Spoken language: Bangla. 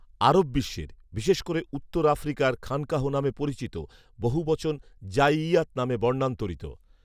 আরব বিশ্বের, বিশেষ করে উত্তর আফ্রিকায় খানকাহ নামে পরিচিত বহুবচন জাঈইয়াত নামে বর্ণান্তরিত